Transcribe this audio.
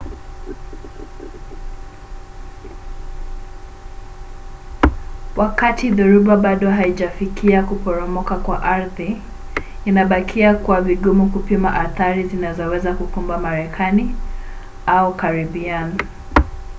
wakati dhoruba bado haijafikia kuporomoka kwa ardhi inabakia kuwa vigumu kupima athari zinazoweza kukumba marekani au karibian